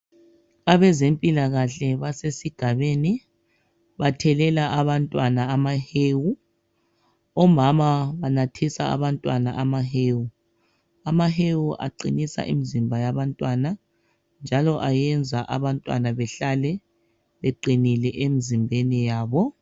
Abezempilakahle basesigabeni. Bathelela abantwana amahewu. Omama banathisa abantwana amahewu. Amahewu aqinisa imizimba yabantwana njalo ayenza abantwana bahlale beqinile emizimbeni yabo.